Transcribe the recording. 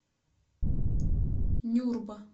нюрба